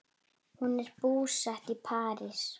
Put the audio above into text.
Hún er búsett í París.